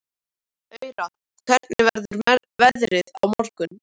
Aurora, hvernig verður veðrið á morgun?